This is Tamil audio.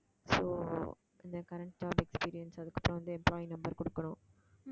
so இந்த current job experience அதுக்குத்தான் வந்து employee number கொடுக்கணும்